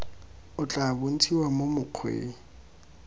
o tla bontshiwa mo mokgweng